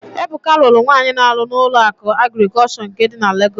Ebuka lụrụ nwaanyị na-arụ na Ụlọakụ Agrịkọlshọ nke dị na Legọs.